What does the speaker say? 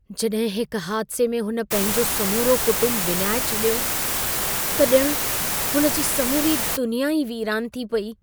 जॾहिं हिक हादिसे में हुन पंहिंजो समूरो कुटुंब विञाए छॾियो, त ॼण हुन जी समूरी दुनिया ई वीरानु थी पेई।